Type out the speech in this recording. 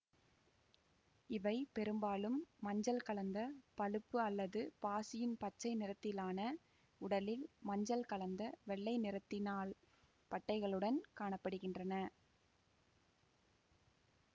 இவை பெரும்பாலும் மஞ்சள் கலந்த பளுப்பு அல்லது பாசியின் பச்சை நிறத்திலான உடலில் மஞ்சள் கலந்த வெள்ளை நிறத்தினால் பட்டைகளுடன காண படுகின்றன